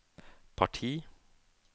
parti